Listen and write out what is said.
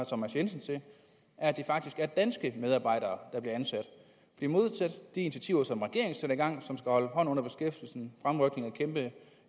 thomas jensen til er at det faktisk er danske medarbejdere der bliver ansat modsat de initiativer som regeringen sætter i gang som skal holde hånden under beskæftigelsen fremrykning